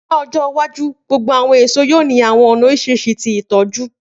Ni ọjọ iwaju, gbogbo awọn eso yoo ni awọn ọna oriṣiriṣi ti itọju.